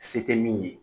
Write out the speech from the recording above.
Se tɛ min ye